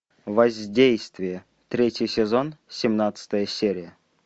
воздействие третий сезон семнадцатая серия